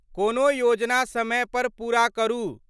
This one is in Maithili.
कोनो योजना समय पर पूरा करू।